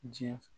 Diɲɛ